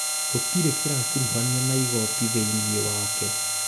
Gũtĩrĩ kĩrakuruhania na Igooti thĩinĩ wake